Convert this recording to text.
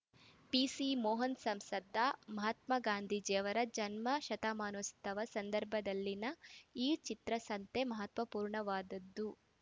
ಪಿಸಿಮೋಹನ್‌ ಸಂಸದ ಮಹಾತ್ಮ ಗಾಂಧೀಜಿಯವರ ಜನ್ಮ ಶತಮಾನೋತ್ಸವ ಸಂದರ್ಭದಲ್ಲಿನ ಈ ಚಿತ್ರಸಂತೆ ಮಹತ್ವಪೂರ್ಣವಾದುದ್ದು